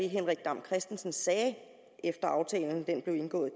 henrik dam kristensen sagde efter at aftalen var blevet indgået